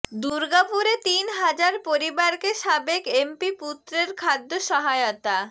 দুর্গাপুরে তিন হাজার পরিবারকে সাবেক এমপি পুত্রের খাদ্য সহায়তা